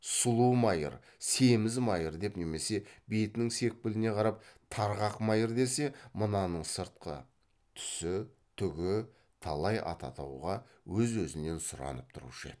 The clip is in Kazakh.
сұлу майыр семіз майыр деп немесе бетінің секпіліне қарап тарғақ майыр десе мынаның сыртқы түсі түгі талай ат атауға өз өзінен сұранып тұрушы еді